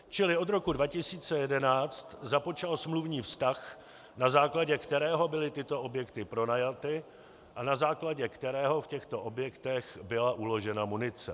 Čili od roku 2011 započal smluvní vztah, na základě kterého byly tyto objekty pronajaty a na základě kterého v těchto objektech byla uložena munice.